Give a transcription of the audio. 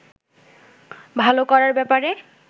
ভালো করার ব্যাপারে